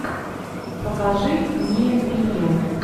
покажи мне винил